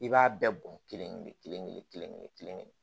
I b'a bɛɛ bɔn kelen-kelen-kelen kelen-kelen kelen-kelen